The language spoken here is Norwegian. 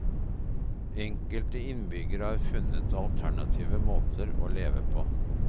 Enkelte innbyggere har funnet alternative måter å leve på.